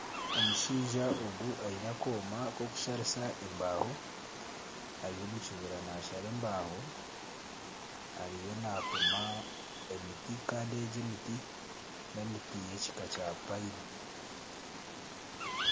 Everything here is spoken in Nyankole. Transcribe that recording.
Omushaija ogu aine akooma k'okusharisa embaaho ari omu kibira nashara embaaho. Ariyo napima emiti kandi egi emiti ni emiti yekika kya payini.